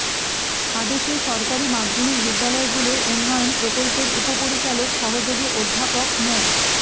আদেশে সরকারি মাধ্যমিক বিদ্যালয়গুলোর উন্নয়ন প্রকল্পের উপপরিচালক সহযোগী অধ্যাপক মো